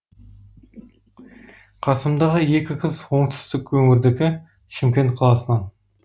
қасымдағы екі қыз оңтүстік өңірдікі шымкент қаласынан